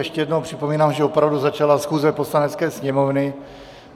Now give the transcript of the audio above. Ještě jednou připomínám, že opravdu začala schůze Poslanecké sněmovny.